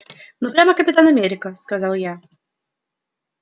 ну прямо капитан америка сказал я